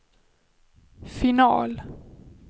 final